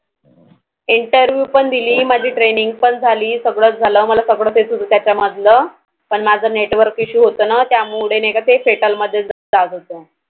Interview पण दिली माझी Training पण झाली, सगळंच झाल मला सगळंच येत होतं त्याच्या मधलं पण माझं Network issue होतं न त्यामुळे नाहि का ते Settle मध्येचं जात होतं